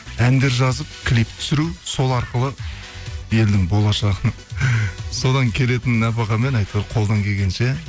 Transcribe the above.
әндер жазып клип түсіру сол арқылы елдің болашағы содан келетін нәпақамен әйтеуір қолдан келгенше